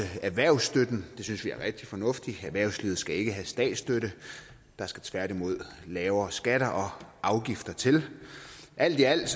erhvervsstøtten det synes vi er rigtig fornuftigt erhvervslivet skal ikke have statsstøtte der skal tværtimod lavere skatter og afgifter til alt i alt